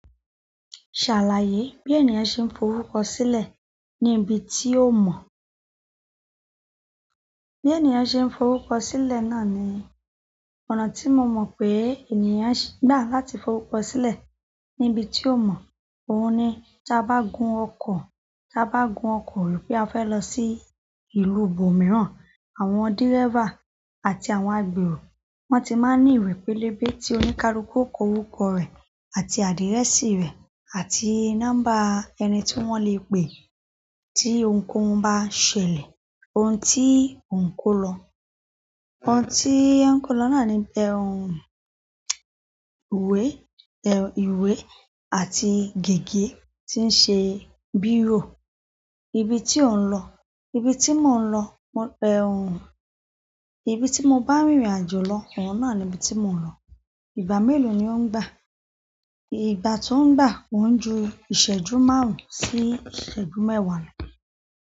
Ṣàlàyé bí ènìyàn ṣe ń forúkọ sílẹ̀ ní ibi tí ó mọ̀. Bí ènìyàn ṣe ń forúkọ sílẹ̀ náà ni, ọ̀nà tí mo mọ̀ pé ènìyàn ṣe ń gbà láti forúkọ sílẹ̀ ní ibi tí ó mọ̀, òun ni tí a bá gun ọkọ̀, tí a bá gun ọkọ̀ wípé a fẹ́ lọ sí ìlú ibòmíràn, àwọn dírẹ́fà àti àwọn agbèrò wọ́n ti máa ń ní ìwé pélébè tí oníkálùkú o kó orúkọ rẹ̀ àti àdírẹ́sì rẹ̀ àti nọ́mbà ẹni tí wọ́n lè pè tí ohunkóhun bá ń ṣẹlẹ̀. Ohun tí oun ko, ohun ti oun ko lọ náà ni, ìwé, ìwé àti gègé tí ń ṣe bírò. Ibi ti on lo, ibi ti mon lo, ibi ti mo ba rinrin ajo lo ohun náà ni ibi ti monlo. Ìgbà mélòó ni ó ń gbà? Ìgbà tí ó ń gbà kó ń ju ìṣẹ́jú márùn-ún sí ìṣẹ́jú mẹ́wàá lọ.